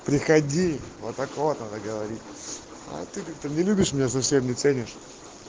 приходи вот так вот надо говорить а ты не любишь меня совсем не ценишь